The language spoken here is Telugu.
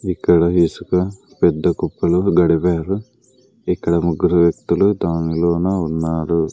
ఇక్కడ ఇసుక పెద్ద కుప్పలో దడిపారు ఇక్కడ ముగ్గురు వ్యక్తులు దానిలోన ఉన్నారు.